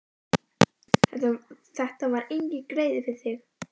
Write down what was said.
Þetta var enginn greiði við þig.